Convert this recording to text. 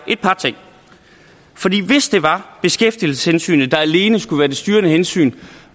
hvis det var beskæftigelseshensynet der alene skulle være det styrende hensyn for